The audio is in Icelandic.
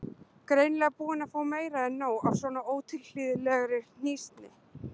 Greinilega búin að fá meira en nóg af svona ótilhlýðilegri hnýsni.